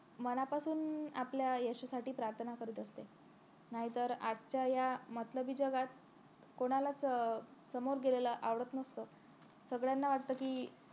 मनापासून आपल्या यशासाठी प्रार्थना करत असते नाहीतर आजच्या या मतलबी जगात कोणालाच समोर गेलेलं आवडत नसत सगळ्यांना वाटत कि